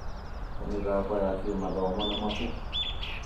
ta mĩthako ya kĩmathomo na mabuku.